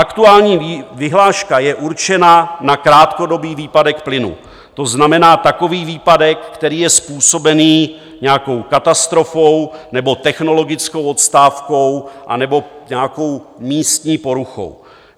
Aktuální vyhláška je určena na krátkodobý výpadek plynu, to znamená takový výpadek, který je způsoben nějakou katastrofou nebo technologickou odstávkou anebo nějakou místní poruchou.